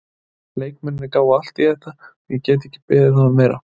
Leikmennirnir gáfu allt í þetta og ég get ekki beðið þá um meira.